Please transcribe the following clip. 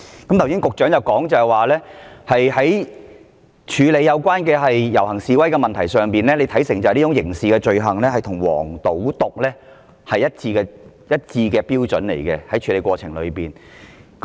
剛才局長說，關於處理遊行示威的問題，他看成是刑事罪行，在處理過程中所採用的標準與"黃、賭、毒"案件一致。